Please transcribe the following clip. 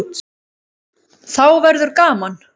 Þá verður gaman.